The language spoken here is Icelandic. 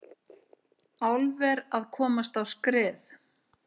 Álver að komast á skrið